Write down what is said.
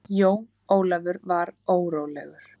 Jón Ólafur var órólegur.